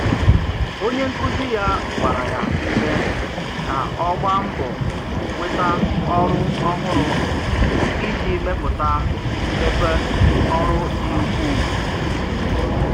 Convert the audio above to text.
Onye nkụzi ya gbaara ya ume ka ọ gbaa mbọ nweta ọrụ ọhụrụ iji mepụta mmepe ọrụ dị ukwuu.